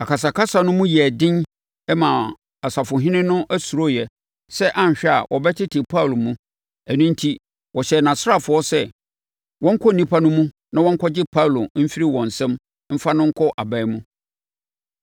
Akasakasa no mu yɛɛ den maa ɔsafohene no suroeɛ sɛ anhwɛ a wɔbɛtete Paulo mu; ɛno enti, ɔhyɛɛ nʼasraafoɔ sɛ, wɔnkɔ nnipa no mu na wɔnkɔgye Paulo mfiri wɔn nsam mfa no nkɔ aban mu.